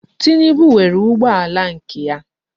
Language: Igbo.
Tinubu nwere ụgbọala nke ya.